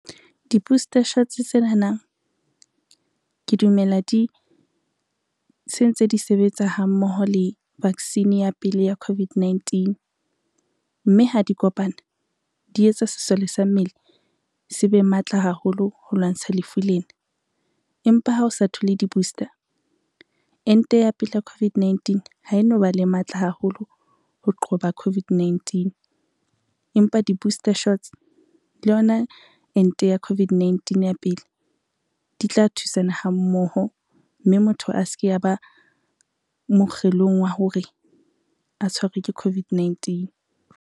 Di-booster shots tsenanang ke dumela di se ntse di sebetsa ha mmoho le vaccine ya pele ya COVID-19, mme ha di kopana di etsa sesole sa mmele se be matla haholo ho lwantsha lefu lena. Empa ha o sa thole di-booster ente ya pele ya COVID-19 ha e no ba le matla haholo ho qoba COVID-19, empa di-booster shots le yona ente ya COVID-19 ya pele di tla thusana ha mmoho mme motho a se ke ya ba mokgelong wa hore a tshwarwe ke COVID-19.